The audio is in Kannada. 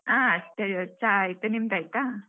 ಹ ಚಾ ಆಯ್ತು, ನಿಮ್ದ್ ಆಯ್ತಾ?